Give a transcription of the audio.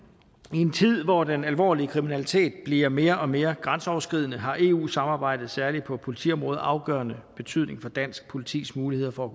i en tid hvor den alvorlige kriminalitet bliver mere og mere grænseoverskridende har eu samarbejdet særlig på politiområdet afgørende betydning for dansk politis muligheder for